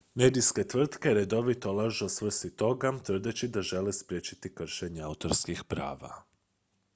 "medijske tvrtke redovito lažu o svrsi toga tvrdeći da žele "spriječiti kršenja autorskih prava"".